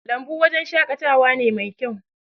lambu wajen shakatawa ne Mai kyau